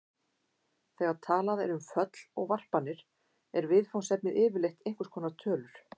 Þegar talað er um föll og varpanir er viðfangsefnið yfirleitt einhvers konar tölur.